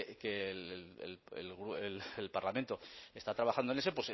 que el parlamento está trabajando en eso